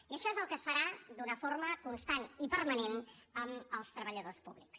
i això és el que es farà d’una forma constant i permanent amb els treballadors públics